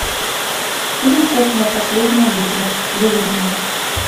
фильм кухня последняя битва выведи мне